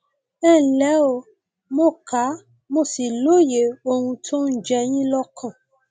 ẹ ǹlẹ o mo kà mo sì lóye ohun tó ń jẹ yín lọkàn